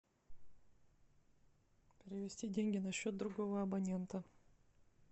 перевести деньги на счет другого абонента